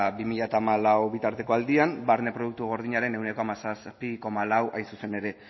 bi mila hamalau bitarteko aldian barne produktu gordinaren ehuneko hamazazpi koma lau hain zuzen ere